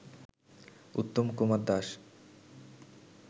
Uttam Kumar Das